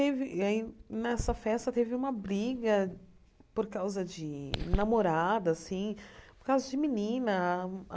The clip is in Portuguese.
Teve e aí, nessa festa, teve uma briga por causa de namorada assim, por causa de menina.